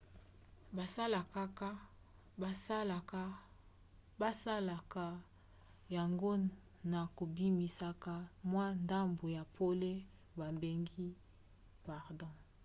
basalaka yango na kobimisaka mwa ndambu ya pole babengi photon